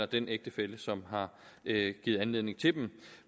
den ægtefælle som har givet anledning til dem